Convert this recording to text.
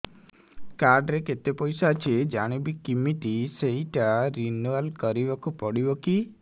card ରେ କେତେ ପଇସା ଅଛି ଜାଣିବି କିମିତି ସେଟା ରିନୁଆଲ କରିବାକୁ ପଡ଼ିବ କି